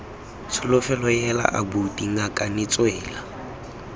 tsholofelo heela abuti ngakane tswela